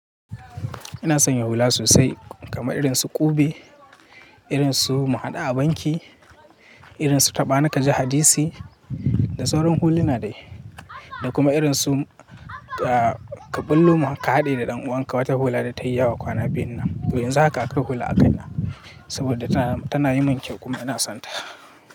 Ina sanya hula sosai kamar irin su ƙube, irin su mu haɗu a banki, irin su taɓani ka ji hadisi da sauran hula na dai. Da kuma irin su kaɓullo mu ka haɗu da ɗan uwanka wata hula da ta yi yawa kwana biyun nan. Toh yanzu haka akwai hula akaina na saboda tana yin mun kyau kuma ina son ta.